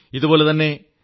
ഇതുപോലെ samskritabharati